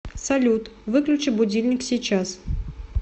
салют выключи будильник сейчас